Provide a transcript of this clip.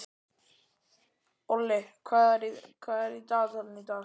Olli, hvað er í dagatalinu í dag?